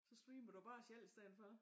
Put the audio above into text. Så streamer du bare selv i stedet for